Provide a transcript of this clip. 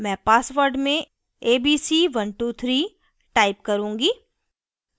मैं password में abc123 type करुँगी